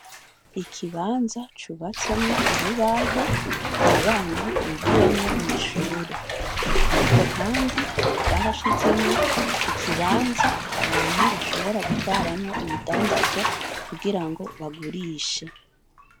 Ikibanza cubatsemwo urubaho abana bigiramwo mw'ishuri. Ariko kandi ,bashizeho ikibanza abantu bashobora gutwaramwo ibidandazwa, kugira ngo bagurishe.